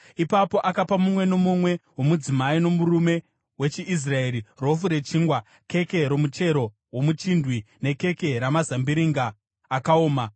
Ipapo akapa mumwe nomumwe womudzimai nomurume wechiIsraeri rofu rechingwa, keke romuchero womuchindwe nekeke ramazambiringa akaoma.